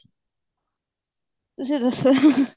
ਤੁਸੀਂ ਦੱਸੋ